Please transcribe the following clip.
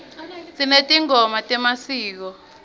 sinetingoma temasiko